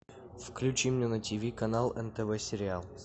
включи мне на тиви канал нтв сериал